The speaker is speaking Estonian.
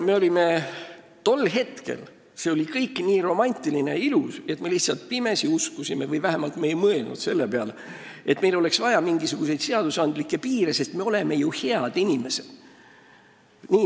Saate aru, tol hetkel oli kõik nii romantiline ja ilus, et me lihtsalt pimesi uskusime, et meil ei ole vaja mingisuguseid seadusega kehtestatud piire – või me vähemalt ei mõelnud selle peale –, sest me oleme ju head inimesed.